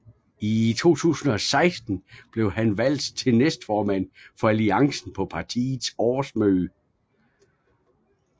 I 2016 blev han valgt til næstformand for Alliancen på partiets årsmøde